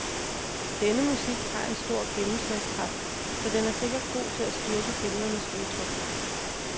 Denne musik har en stor gennemslagskraft, så den er sikkert god til at styrke billedernes udtryk.